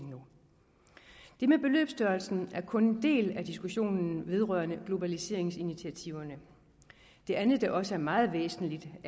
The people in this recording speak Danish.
det med beløbsstørrelsen er kun en del af diskussionen vedrørende globaliseringsinitiativerne det andet der også er meget væsentligt og